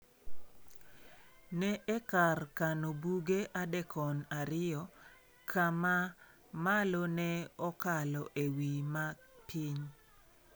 Ne e kar kano buge adekon ariyo, ka ma malo ne okalo e wi ma piny.